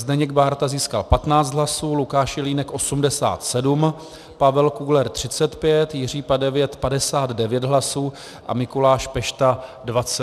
Zdeněk Bárta získal 15 hlasů, Lukáš Jelínek 87, Pavel Kugler 35, Jiří Padevět 59 hlasů a Mikuláš Pešta 29 hlasů.